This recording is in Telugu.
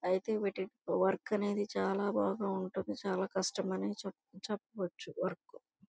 ఐతే వీటి వర్క్ అనేది చాల బాగా ఉంటుంది. చాలా కష్టమనే చెప్పా చెప్పవచ్చు వర్క్ .